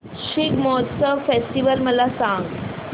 Shigmotsav festival मला सांग